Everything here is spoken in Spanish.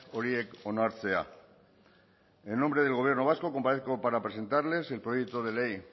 horiek onartzea en nombre del gobierno vasco comparezco para presentarles el proyecto de ley